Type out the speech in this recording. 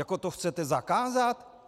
Jako to chcete zakázat?